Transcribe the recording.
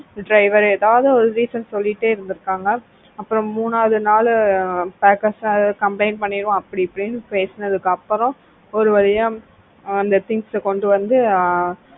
driver ஏதாவது ஒரு reason சொல்லிட்டே இருந்திருக்காங்க அப்புறம் மூணாவது நாள் packers complaint பண்ணி அப்படி இப்படின்னு பேசினதுக்கு அப்புறம் ஒருவழியா அந்த things கொண்டு வந்து